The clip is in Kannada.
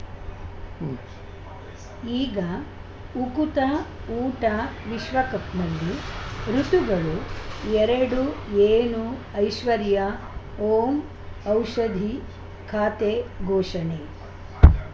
ಉಂ ಈಗ ಉಕುತ ಊಟ ವಿಶ್ವಕಪ್‌ನಲ್ಲಿ ಋತುಗಳು ಎರಡು ಏನು ಐಶ್ವರ್ಯಾ ಓಂ ಔಷಧಿ ಖಾತೆ ಘೋಷಣೆ